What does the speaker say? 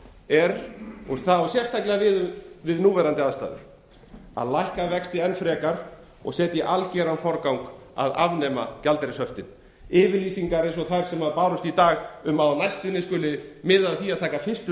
er og það á sérstaklega við um núverandi aðstæður að lækka vexti enn frekar og setja í algjöran forgang að afnema gjaldeyrishöftin yfirlýsingar eins og þær sem bárust í dag um að á næstunni skuli miðað að því að taka fyrstu